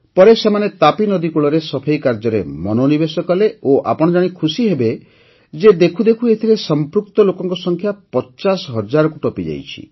ପରେ ସେମାନେ ତାପୀ ନଦୀ କୂଳରେ ସଫେଇ କାର୍ଯ୍ୟରେ ମନୋନିବେଶ କଲେ ଓ ଆପଣ ଜାଣି ଖୁସିହେବେ ଯେ ଦେଖୁଦେଖୁ ଏଥିରେ ସଂପୃକ୍ତ ଲୋକଙ୍କ ସଂଖ୍ୟା ୫୦ ହଜାରକୁ ଟପିଯାଇଛି